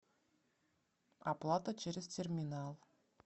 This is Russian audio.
оплата через терминал